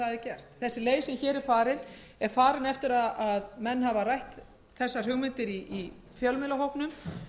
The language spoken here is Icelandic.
er gert sú leið sem hér er farin er til komin eftir að menn hafa rætt þessar hugmyndir í fjölmiðlahópnum